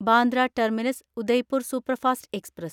Bandra terminus Udaipur superfast express